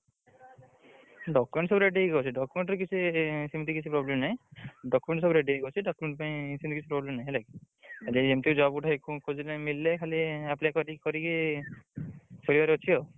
Document ସବୁ ready ହେଇକି ଅଛି document ରେ କିଛି ସେମିତି କିଛି problem ନାହିଁ। ହେଲାକି document ସବୁ ready ହେଇକି ଅଛି document ପାଇଁ ସେମିତି କିଛି problem ନାହିଁ ହେଲାକି ଏମିତି job ଗୋଟେ ଖୋଜିଲେ ମିଳିଲେ ଖାଲି apply କରିକି କରିକି ଅଛି ଆଉ।